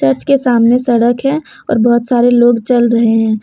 इसके सामने सड़क है और बहुत सारे लोग चल रहे हैं।